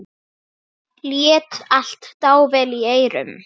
Lét allt dável í eyrum.